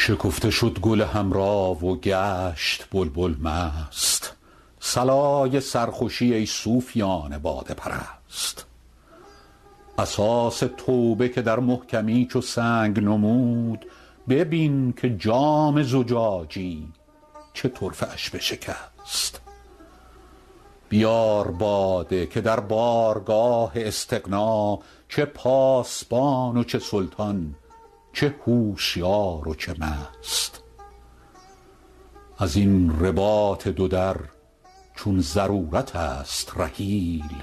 شکفته شد گل حمرا و گشت بلبل مست صلای سرخوشی ای صوفیان باده پرست اساس توبه که در محکمی چو سنگ نمود ببین که جام زجاجی چه طرفه اش بشکست بیار باده که در بارگاه استغنا چه پاسبان و چه سلطان چه هوشیار و چه مست از این رباط دو در چون ضرورت است رحیل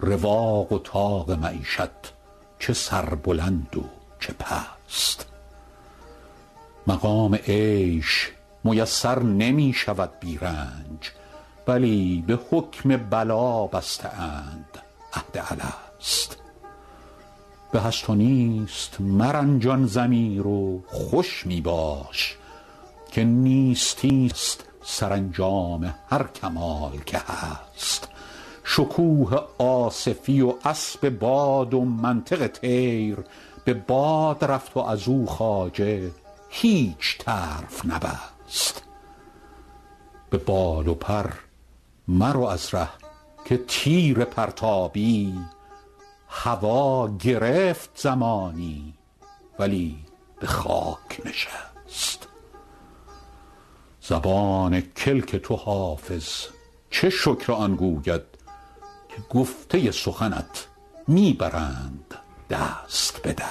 رواق و طاق معیشت چه سربلند و چه پست مقام عیش میسر نمی شود بی رنج بلی به حکم بلا بسته اند عهد الست به هست و نیست مرنجان ضمیر و خوش می باش که نیستی ست سرانجام هر کمال که هست شکوه آصفی و اسب باد و منطق طیر به باد رفت و از او خواجه هیچ طرف نبست به بال و پر مرو از ره که تیر پرتابی هوا گرفت زمانی ولی به خاک نشست زبان کلک تو حافظ چه شکر آن گوید که گفته سخنت می برند دست به دست